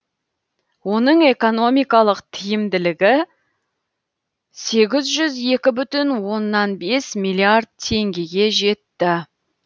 оның экономикалық тиімділігі сегіз жүз екі бүтін оннан бес миллиард теңгеге жетті